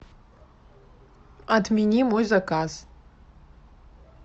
отмени мой заказ